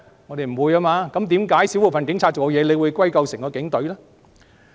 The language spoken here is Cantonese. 那為甚麼少部分警察的行為會歸究整支警隊呢？